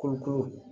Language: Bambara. Kurukuru